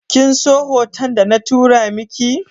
Kinso foton da na tura miki?